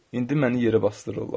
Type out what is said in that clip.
İndi məni yerə basdırırlar.